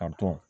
A dɔn